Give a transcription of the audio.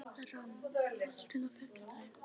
Ram, er bolti á fimmtudaginn?